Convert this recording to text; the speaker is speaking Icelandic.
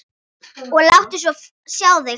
Og láttu svo sjá þig.